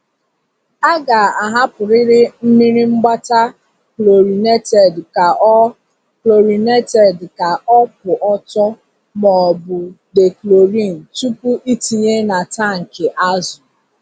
A ga-ahapụrịrị mmiri mgbata chlorinated ka ọ chlorinated ka ọ kwụ ọtọ maọbụ dechlorin tupu ịtinye na tankị azụ.